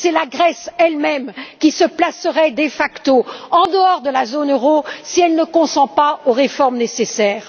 C'est la Grèce elle même qui se placera de facto en dehors de la zone euro si elle ne consent pas aux réformes nécessaires.